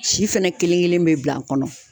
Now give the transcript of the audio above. Si fɛnɛ kelen kelen bɛ bila n kɔnɔ.